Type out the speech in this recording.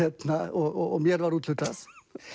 og mér var úthlutað